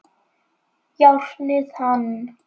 Járnið hann!